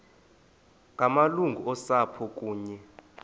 ngamalungu osapho kunye